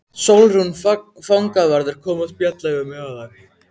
Sólrún fangavörður kom að spjalla við mig áðan.